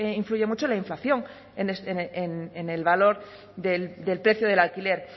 influye mucho la inflación en el valor del precio del alquiler